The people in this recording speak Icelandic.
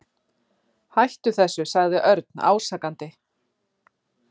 Hættu þessu sagði Örn ásakandi.